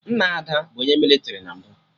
Nna Ada bụ onye mịlịtrị na mbụ